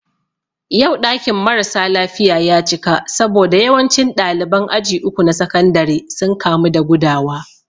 Yau ɗakin mara sa lafiya ya cika saboda yawancin ɗaliban aji uku na sakandare sun kamu da gudawa